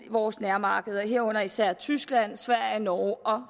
vores nærmarkeder herunder især tyskland sverige norge og